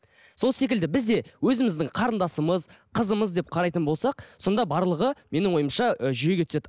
сол секілді біз де өзіміздің қарындасымыз қызымыз деп қарайтын болсақ сонда барлығы менің ойымша ы жүйеге түседі